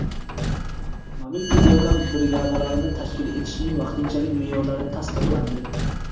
Mobil tez yordam brigadalarini tashkil etishning vaqtinchalik me’yorlari tasdiqlandi.